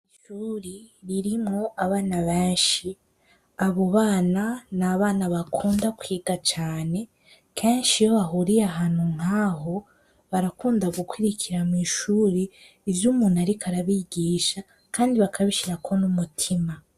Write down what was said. Ishuri ririmwo abana benshi abo bana ni abana bakunda kwiga cane kenshi iyo bahuriye ahantu nkaho barakunda gukwirikira mw'ishuri ivyo umuntu, ariko arabigisha, kandi bakabishirako n'umutima.